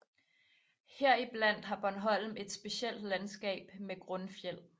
Heriblandt har Bornholm et specielt landskab med grundfjeld